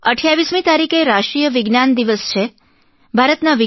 28 મી તારીખે રાષ્ટ્રીય વિજ્ઞાન દિવસ નેશનલ સાયન્સ ડે છે